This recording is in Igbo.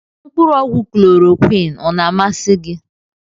Mkpụrụ ọgwụ klọrọquin ọ na amasị gị?